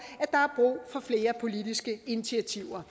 at flere politiske initiativer